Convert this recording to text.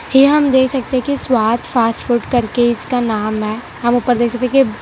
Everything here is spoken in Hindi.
यह हम देख सकते हैं कि स्वाद फास्ट फूड करके इसका नाम है हम ऊपर देख सकते हैं कि--